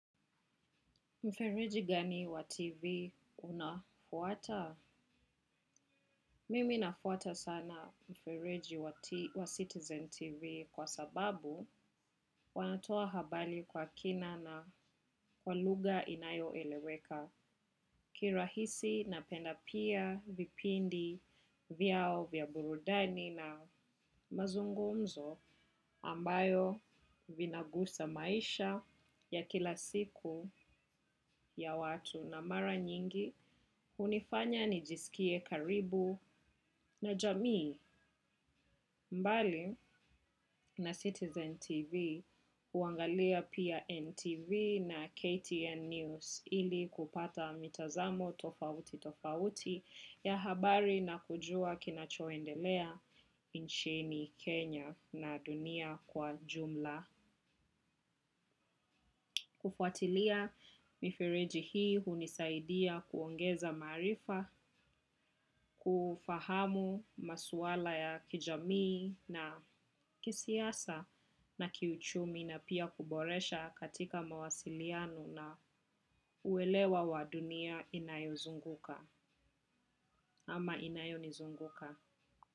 Mfereji gani wa TV unafuata? Mimi nafuata sana mfereji wa Citizen TV kwa sababu wanatoa habari kwa kina na kwa lugha inayoeleweka. Kirahisi napenda pia vipindi vyao vya burudani na mazungumzo ambayo vinagusa maisha ya kila siku ya watu na mara nyingi. Hunifanya nijisikie karibu na jamii mbali na Citizen TV huangalia pia NTV na KTN News ili kupata mitazamo tofauti tofauti ya habari na kujua kinachoendelea inchini Kenya na dunia kwa jumla. Kufuatilia mifireji hii hunisaidia kuongeza maarifa, kufahamu masuala ya kijamii na kisiasa na kiuchumi na pia kuboresha katika mawasiliano na kuelewa wadunia inayozunguka ama inayonizunguka.